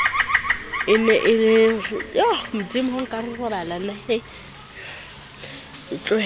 e na le ho itlohella